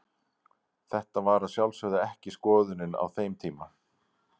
Þetta var að sjálfsögðu ekki skoðunin á þeim tíma.